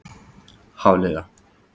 Hafliða